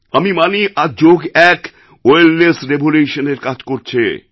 আমি মানি আজ যোগ এক ওয়েলনেস revolutionএর কাজ করছে